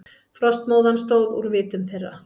Frostmóðan stóð úr vitum þeirra.